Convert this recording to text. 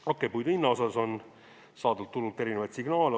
Hakkpuidu hinna kohta on saadud turult erinevaid signaale.